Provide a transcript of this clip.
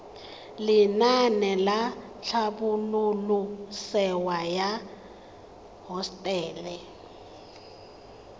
lenaane la tlhabololosewa ya hosetele